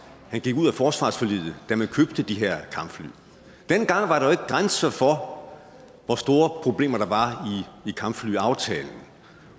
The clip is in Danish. han gik ud af forsvarsforliget da man købte de her kampfly dengang var der grænser for hvor store problemer der var i kampflyaftalen